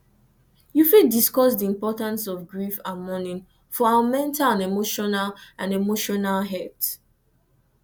you fit discuss di importance of grief and mourning for our mental and emotional and emotional health